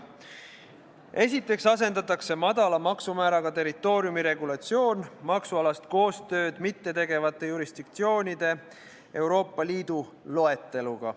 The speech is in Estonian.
Esiteks asendatakse madala maksumääraga territooriumi regulatsioon maksualast koostööd mittetegevate jurisdiktsioonide Euroopa Liidu loeteluga.